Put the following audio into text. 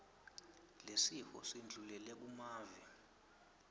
lesifo sindlulele kumave